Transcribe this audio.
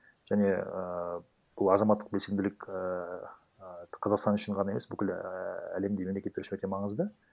және ііі бұл азаматтық белсенділік ііі қазақстан үшін ғана емес бүкіл ііі әлемдегі мемлекеттер үшін өте маңызды